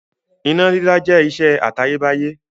Iná dídá jẹ́ ìṣe àtayébáyé.